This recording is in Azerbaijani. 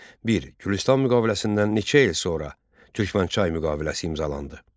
Bir, Gülüstan müqaviləsindən neçə il sonra Türkmənçay müqaviləsi imzalandı?